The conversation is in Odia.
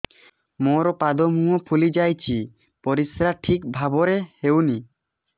ମୋର ପାଦ ମୁହଁ ଫୁଲି ଯାଉଛି ପରିସ୍ରା ଠିକ୍ ଭାବରେ ହେଉନାହିଁ